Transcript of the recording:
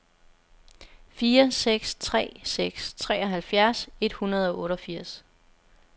fire seks tre seks treoghalvfjerds et hundrede og otteogfirs